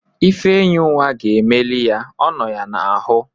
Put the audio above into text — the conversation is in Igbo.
Ifenyinwa ga-emeli ya. Ọ nọ ya n'ahu